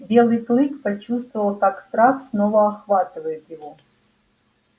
белый клык почувствовал как страх снова охватывает его